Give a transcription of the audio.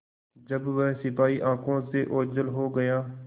जब वह सिपाही आँखों से ओझल हो गया